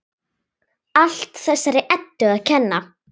Allt þessari Eddu að kenna!